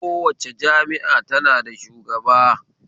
Kowace jami'a ta na shugaba